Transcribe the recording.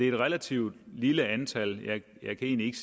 et relativt lille antal jeg kan ikke